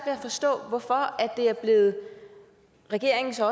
at forstå hvorfor det er blevet regeringens og